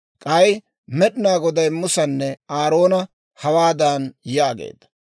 K'ay Med'inaa Goday Musanne Aaroona hawaadan yaageedda;